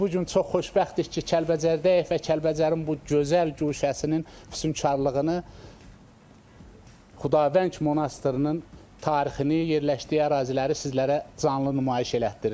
Biz bu gün çox xoşbəxtik ki, Kəlbəcərdəyik və Kəlbəcərin bu gözəl guşəsinin füsunkarlığını Xudavəng monastırının tarixini, yerləşdiyi əraziləri sizlərə canlı nümayiş elətdiririk.